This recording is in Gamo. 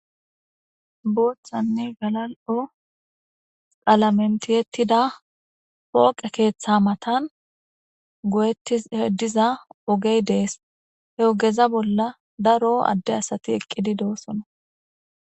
booththanne galal'o qalamen tiyettida pooqe keeththa matan goyettishe diza ogey dees he ogeza bolla daro adde asati eqqidi de'osona